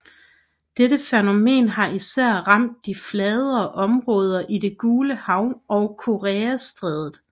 Dette fænomen har især ramt de fladere områder i Det Gule Hav og Koreastrædet